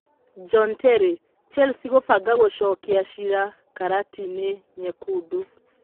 John Terry: Chelsea kũbanga gũcokia ciira karati-inĩ nyekundu